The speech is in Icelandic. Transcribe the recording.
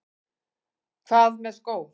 Hvað með skó?